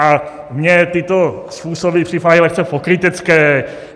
A mně tyto způsoby připadají lehce pokrytecké.